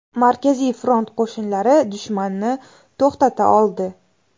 Markaziy front qo‘shinlari dushmanni to‘xtata oldi.